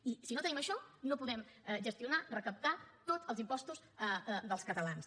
i si no tenim això no podem gestionar recaptar tots els impostos dels catalans